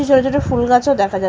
এই ছবিতে একটি ফুল গাছও দেখা যা--